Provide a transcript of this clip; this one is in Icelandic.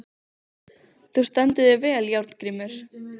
Þú stendur þig vel, Járngrímur!